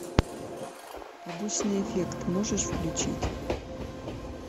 побочный эффект можешь включить